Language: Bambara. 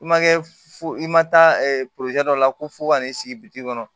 I ma kɛ fo i ma taa dɔ la ko fo ka n'i sigi biti kɔnɔ